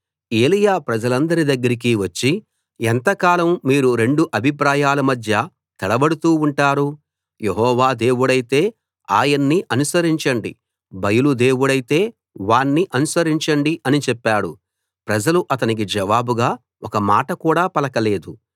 ఏలీయా ప్రజలందరి దగ్గరికి వచ్చి ఎంతకాలం మీరు రెండు అభిప్రాయాల మధ్య తడబడుతూ ఉంటారు యెహోవా దేవుడైతే ఆయన్ని అనుసరించండి బయలు దేవుడైతే వాణ్ణి అనుసరించండి అని చెప్పాడు ప్రజలు అతనికి జవాబుగా ఒక మాట కూడా పలకలేదు